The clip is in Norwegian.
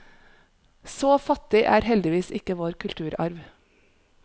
Så fattig er heldigvis ikke vår kulturarv.